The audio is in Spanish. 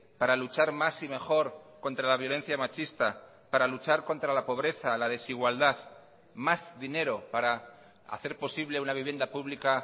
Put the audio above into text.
para luchar más y mejor contra la violencia machista para luchar contra la pobreza la desigualdad más dinero para hacer posible una vivienda pública